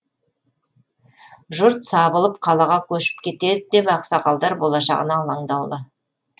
жұрт сабылып қалаға көшіп кетеді деп ақсақалдар болашағына алаңдаулы